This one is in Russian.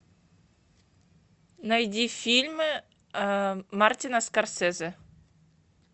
найди фильмы мартина скорсезе